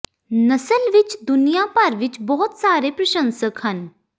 ਨਸਲ ਵਿੱਚ ਦੁਨੀਆਂ ਭਰ ਵਿੱਚ ਬਹੁਤ ਸਾਰੇ ਪ੍ਰਸ਼ੰਸਕ ਹਨ